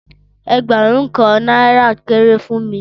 Ẹẹgbarun Kan naira kere fún mi.